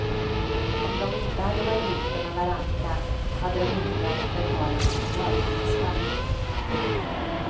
Om de inte hade varit gifta med varandra hade de inte behövt betala någon förmögenhetsskatt.